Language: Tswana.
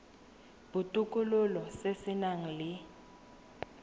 botokololo se se nang le